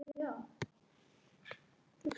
Um þetta leyti hætti hann að lána okkur Björgu og